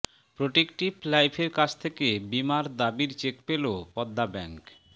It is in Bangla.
প্রোটেক্টিভ লাইফের কাছ থেকে বীমা দাবির চেক পেলো পদ্মা ব্যাংক